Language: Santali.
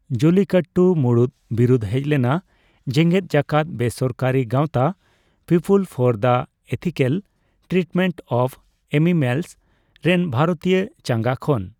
ᱡᱚᱞᱞᱤᱠᱟᱴᱴᱩ ᱢᱩᱲᱩᱛ ᱵᱤᱨᱩᱫᱷ ᱦᱮᱡ ᱞᱮᱱᱟ ᱡᱮᱜᱮᱫ ᱡᱟᱠᱟᱛ ᱵᱮᱥᱚᱨᱠᱟᱨᱤ ᱜᱟᱣᱛᱟ People for the Ethical Treatment of Animals ᱨᱮᱱ ᱵᱷᱟᱨᱚᱛᱤᱭᱚ ᱪᱟᱸᱜᱟ ᱠᱷᱚᱱ᱾